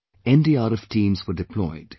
NDRF teams were deployed